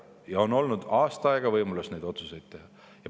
Ja aasta aega on olnud võimalus neid otsuseid teha.